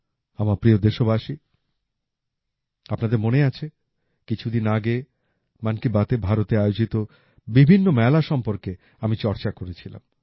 আমার প্রিয় দেশবাসী আপনাদের মনে আছে কিছুদিন আগে মন কি বাতএ ভারতে আয়োজিত বিভিন্ন মেলা সম্বন্ধে আমি চর্চা করেছিলাম